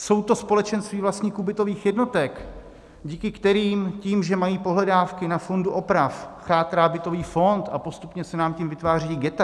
Jsou to společenství vlastníků bytových jednotek, díky kterým tím, že mají pohledávky na fondu oprav, chátrá bytový fond a postupně se nám tím vytvářejí ghetta.